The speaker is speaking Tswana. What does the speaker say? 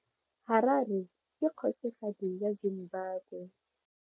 Harare ke kgosigadi ya Zimbabwe.